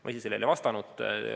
Ma ise sellele ei vastanud.